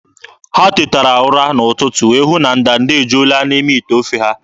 Ha tetara ụra n'ụtụtụ wee hụ na ndanda ejuola n'ime ite ofe ha.